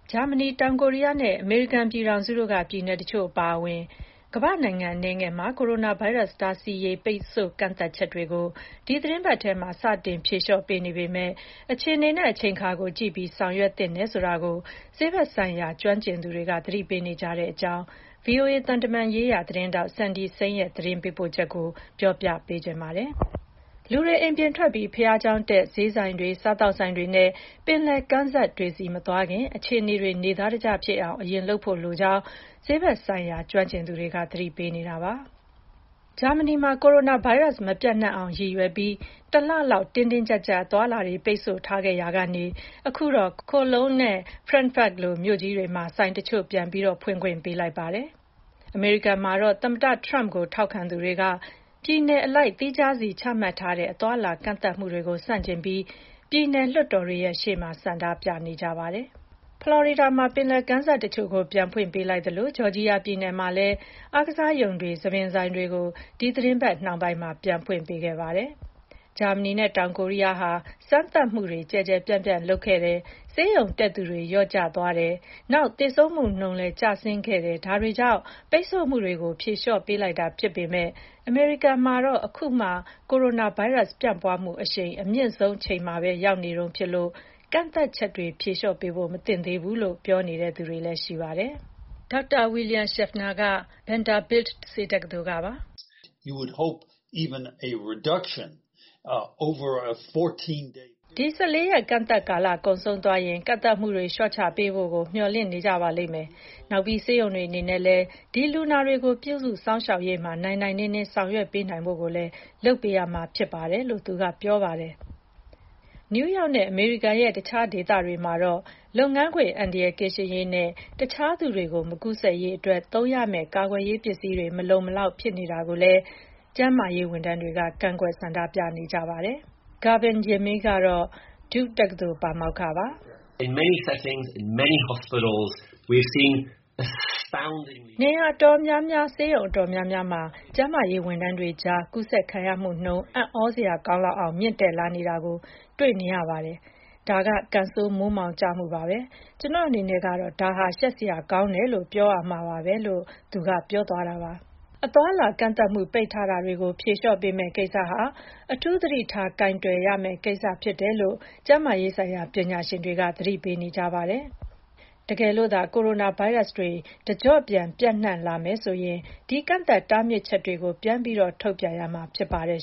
ဂျာမနီ၊ တောင်ကိုရီးယားနဲ့ အမေရိကန်ပြည်ထောင်စုက ပြည်နယ်တချို့ အပါအဝင် ကမ္ဘာ့နိုင်ငံ အနည်းငယ်မှာ ကိုရိုနာဗိုင်းရပ်စ် တားဆီးရေး ပိတ်ဆို့ကန့်သတ်ချက်တွေကို ဒီသီတင်းပတ်ထဲမှာ စတင်ဖြေလျော့ပေးနေပေမယ့် အခြေအနေနဲ့ အချိန်အခါကို ကြည့်ပြီး ဆောင်ရွက်သင့်တယ်ဆိုတာကို ဆေးဘက်ဆိုင်ရာ ကျွမ်းကျင်သူတွေက သတိပေးနေကြပါတယ်။ ဒီအကြောင်းနဲ့ ပတ်သက်လို့ ဗွီအိုအေ သံတမန်ရေးရာ သတင်းထောက် Cindy Saine ရဲ့ သတင်းပေးပို့ချက်ကို မခွာညို တင်ပြပေးထားပါတယ်။ လူတွေ အိမ်ပြင်ထွက်ပြီး ဘုရားကျောင်းတက်၊ ဈေးဆိုင်တွေ၊ စားသောက်ဆိုင်တွေနဲ့ ပင်လယ်ကမ်းစပ်တွေဆီ မသွားခင် အခြေအနေတွေ နေသားတကျဖြစ်အောင် အရင်လုပ်ဖို့လိုကြောင်း ဆေးဘက်ဆိုင်ရာ ကျွမ်းကျင်သူတွေက သတိပေးနေပါတယ်။ ဂျာမနီမှာ ကိုရိုနာဗိုင်းရပ်စ် မပျံ့နှံ့အောင်ရည်ရွယ်ပြီး တလလောက် တင်းတင်းကျပ်ကျပ် အသွားအလာ ပိတ်ဆို့ထားခဲ့ရာကနေ အခုတော့ Cologne နဲ့ Frankfurt လို မြို့ကြီးတွေမှာ ဆိုင်တချို့ ပြန်ဖွင့်ခွင့်ပေးလိုက်ပါတယ်။ ဖလော်ရီဒါမှာတော့ ပယ်လယ်ကမ်းစပ်တချို့ကို ပြန်ဖွင့်ပေးလိုက်သလို ဂျော်ဂျီယာပြည်နယ်မှာလည်း အားကစားရုံတွေ၊ ဆံသဆိုင်တွေကို ဒီသီတင်းပတ် နှောင်းပိုင်းမှာ ပြန်ဖွင့်ခဲ့ကြပါတယ်။ ဂျာမနီနဲ့ တောင်ကိုရီးယားဟာ စမ်းသပ်မှုတွေ ကျယ်ကျယ်ပြန့်ပြန့် လုပ်ခဲ့တယ်၊ ဆေးရုံတက်သူ လျော့ကျသွားတယ်၊ နောက် သေဆုံးမှုနှုန်းလည်း ကျဆင်းခဲ့တာတွေကြောင့် ပိတ်ဆို့မှုတွေကို ဖြေလျော့ပေးလိုက်တာဖြစ်ပေမယ့် အမေရိကန်မှာတော့ အခုမှ ကိုရိုနာဗိုင်းရပ်စ် ပြန့်ပွားမှုအရှိန် အမြင့်ဆုံးအချိန်မှာ ရောက်နေတုန်းဖြစ်လို့ ကန့်သတ်ချက်တွေ ဖြေလျော့ပေးဖို့ မသင့်သေးဘူးလို့ ပြောသူတွေလည်း ရှိပါတယ်။ ဒေါက်တာ William Schaffner ကလည်း Vanderbilt ဆေးတက္ကသိုလ်ကပါ။ “ဒီ ၁၄ ရက် ကန့်သတ်ကာလကုန်သွားရင် ကန့်သတ်မှုတွေ လျှော့ချပေးဖို့ကို မျှော်လင့်နေပါလိမ့်မယ်။ နောက်ပြီး ဆေးရုံတွေအနေနဲ့လည်း ဒီလူနာတွေကို ပြုစုစောင့်ရှောက်ရေးမှာ နိုင်နိုင်နင်းနင်း ဆောင်ရွက်ပေးနိုင်ဖို့လည်း လုပ်ပေးရမှာဖြစ်ပါတယ်။” လို့ သူက ပြောပါတယ်။ နယူးယောက်နဲ့ အမေရိကန်ရဲ့ တခြားဒေသတွေမှာတော့ လုပ်ငန်းခွင် အန္တရာယ်ကင်းရှင်းရေးနဲ့ တခြားသူတွေကို မကူးစက်စေရေးအတွက် သုံးရမယ့် ကာကွယ်ရေးပစ္စည်းတွေ မလုံမလောက် ဖြစ်နေတာကိုလည်း ကျန်းမာရေးဝန်ထမ်းတွေက ကန့်ကွက် ဆန္ဒပြနေကြပါတယ်။ Gavin Yamey ကတော့ Duke တက္ကသိုလ်က ပါမောက္ခပါ။ “နေရာအတော်များများ၊ ဆေးရုံအတော်များများမှာ ကျန်းမာရေးဝန်ထမ်းတွေကြား ကူးစက်ခံရမှုနှုန်းက အံ့သြစရာကောင်းလောက်အောင် မြင့်တက်လာနေတာကို မြင်နေကြရပါတယ်။ ဒါက ကံဆိုးမိုးမှောင်ကျမှုပါပဲ။ ကျနော့်အနေနဲ့ကတော့ ဒါဟာ ရှက်စရာကောင်းတယ်လို့ ပြောရမှာပါပဲ။” လို့ သူက ပြောပါတယ်။ အသွားအလာကန့်သတ်မှု ပိတ်ထားတာတွေကို ဖြေလျှော့ပေးမယ့်ကိစ္စဟာ အထူးသတိထား ကိုင်တွယ်ရမယ့်ကိစ္စ ဖြစ်တယ်လို့ ကျန်းမာရေးဆိုင်ရာ ပညာရှင်တွေက သတိပေးနေကြပါတယ်။ တကယ်လို့သာ ကိုရိုနာဗိုင်းရပ်စ်တွေ တကျော့ပြန် ပျံ့နှံ့လာမယ်ဆိုရင် ဒီကန့်သတ်တားမြစ်ချက်တွေကို ပြန်ပြီး ထုတ်ပြန်ရမှာ ဖြစ်ပါတယ်